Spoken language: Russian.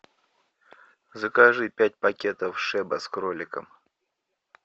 закажи пять пакетов шеба с кроликом